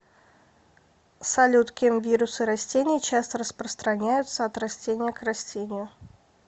салют кем вирусы растений часто распространяются от растения к растению